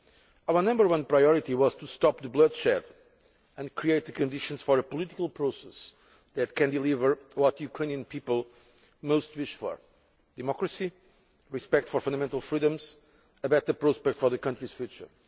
Our number one priority was to stop the bloodshed and create the conditions for a political process that can deliver what the Ukrainian people most wish for democracy, respect for fundamental freedoms, and a better prospect for the country's future.